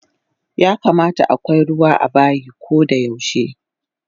Yakamata akwai ruwa abayi kodayaushe